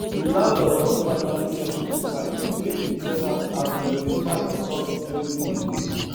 the landlord don finally settle the fight between hin ten ant as them dey fight on top security money